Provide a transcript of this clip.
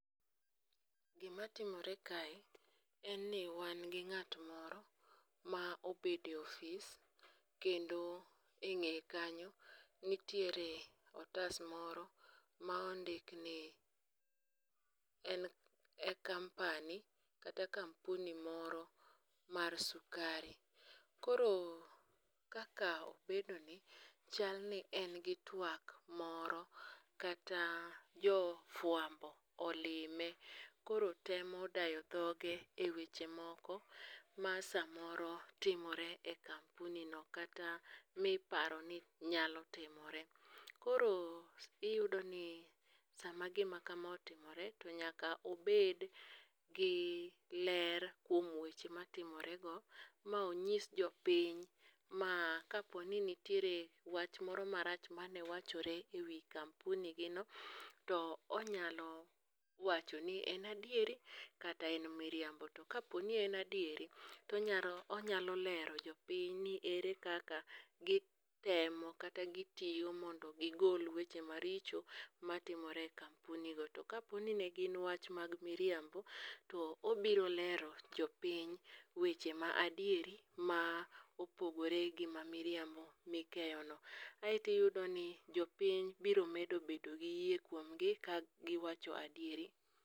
Gimatimore kae enni wangi ng'at moro ma obede ofis kendo eng'eye kanyo nitiere otas moro ma ondikni en ekampani kata kampuni moro mar sukari. Koro kaka obedoni chalni engi twak moro kata jofuambo olime koro temo dayo dhoge eweche moko masomoro timore ekampunino kata miparoni nyalo timore. Koroo iyudoni sama gima kama otimore to nyaka obed gi ler kuom weche matimorego monyis jopiny ma kaponi nitiere wach moro marach mane wachore ewi kampunigino to onyalo wachoni ni en adieri kata en miriambo. Tokaponi en adieri to onyalo onyalo lero jopiny ni ere kaka gitemo kata gitiyo mondo gigol weche maricho matimore ekampunigo To kaponi negin wach mag miriambo to obiro lero jopiny weche ma adieri ma opogore gi mamiriambo mikeyono. Aeto iyudoni jopiny biro medo bedo giyie kuomgi kagiwacho adieri.